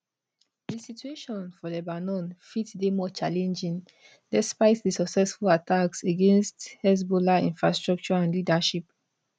di situation for lebanon fit dey more challenging despite di successful attacks against hezbollah infrastructure and leadership